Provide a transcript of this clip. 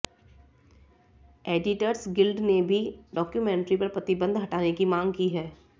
editors guild ने भी documentary पर प्रतिबंध हटाने की मांग की है